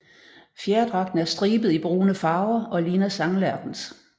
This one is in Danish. Fjerdragten er stribet i brune farver og ligner sanglærkens